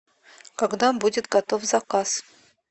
когда будет готов заказ